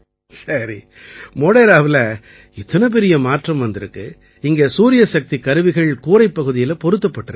சரி மோடேராவுல இத்தனை பெரிய மாற்றம் வந்திருக்கு இங்க சூரியசக்திக் கருவிகள் கூரைப்பகுதியில பொருத்தப்பட்டிருக்கு